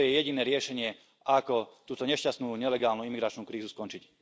Toto je jediné riešenie, ako túto nešťastnú nelegálnu imigračnú krízu skončiť.